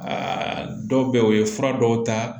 Aa dɔw bɛ yen o ye fura dɔw ta